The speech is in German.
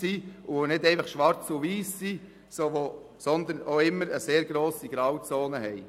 Sie sind nicht einfach schwarz und weiss, sondern haben auch immer eine sehr grosse Menge an Grautönen.